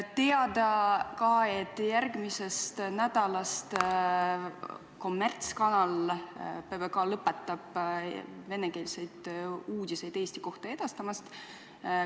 Teada on ka see, et järgmisel nädalal lõpetab kommertskanal PBK venekeelsete uudiste edastamise Eesti kohta.